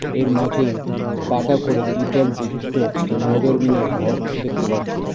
এর মাঝে পাঁকা করে দ্বিতল বিশিষ্ট নজর মিনার ঘর দেখতে পারছি .